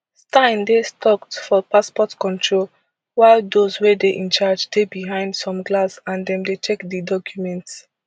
stein dey stucked for passport control while dose wey dey in charge dey behind some glass and dem dey check di documents